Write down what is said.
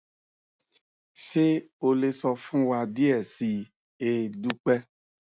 ṣe o le sọ fun wa diẹ sii e dupe